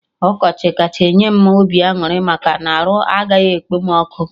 Ọkọchị kacha enye m obi aṅụrị maka na arụ agaghị ekpom ọkụ